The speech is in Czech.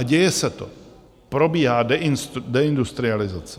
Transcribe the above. A děje se to, probíhá deindustrializace.